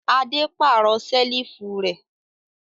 Adé pàrọ̀ ṣẹ́lífù rẹ̀